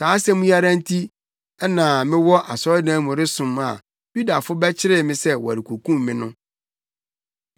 Saa asɛm yi ara nti na na mewɔ asɔredan mu resom a Yudafo no bɛkyeree me sɛ wɔrekokum me no.